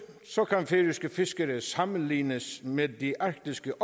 kan færøske fiskere sammenlignes med de arktiske